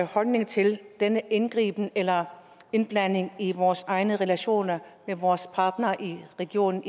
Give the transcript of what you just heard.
holdning til denne indgriben eller indblanding i vores egne relationer med vores partnere i region